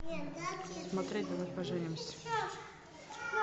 смотреть давай поженимся